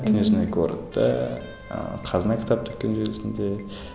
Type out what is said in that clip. книжный городта ыыы қазына кітап дүкен желісінде